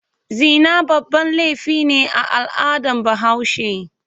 Zina babban laifi ne a al'adar Bahaushe.